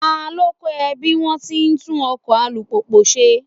Ta ló kọ́ ọ bí wón ti ń tún ọkọ̀ alùpùpù ṣe?